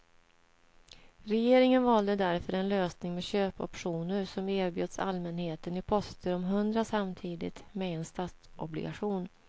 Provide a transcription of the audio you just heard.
Regeringen valde därför en lösning med köpoptioner som erbjöds allmänheten i poster om hundra samtidigt med en statsobligation.